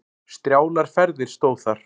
Strjálar ferðir stóð þar.